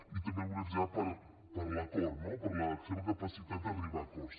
i també el volia felicitar per l’acord no per la seva capacitat d’arribar a acords